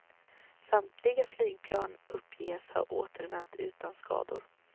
Samtliga flygplan uppges ha återvänt utan skador.